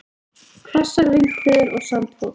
Hvassar vindhviður og sandfok